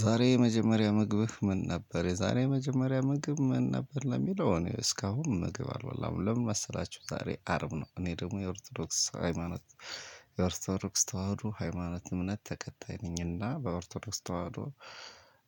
ዛሬ የመጀመሪያ ምግብህ ምን ነበር የዛሬ የመጀመሪያ ምግብ ምን ነበር? ለሚለው እኔ እስካሁን ምግብ አልበላሁም ለምን መሰላችሁ ዛሬ አርብ ነው። እኔ ደግሞ የኦርቶዶክስ ሃይማኖት። የኦርቶዶክስ ተዋህዶ ሃይማኖት እምነት ተከታይ ነኝና በኦርቶዶክስ ተዋህዶ።